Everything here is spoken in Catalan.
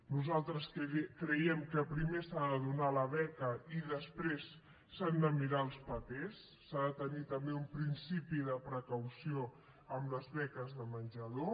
nosaltres creiem que primer s’ha de donar la beca i després s’han de mirar els papers s’ha de tenir també un principi de precaució amb les beques de menjador